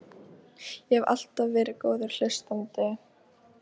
Ég hef alltaf verið góður hlustandi.